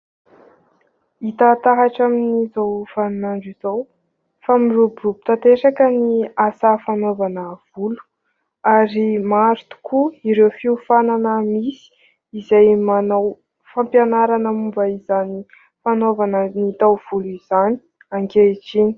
Hita taratra amin'izao vaninandro izao fa miroborobo tanteraka ny asa fanaovana volo ary maro tokoa ireo fihofanana misy izay manao fampianarana momba izany fanaovana ny taovolo izany ankehitriny.